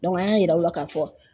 Dɔnku an y'a yira u la k'a fɔ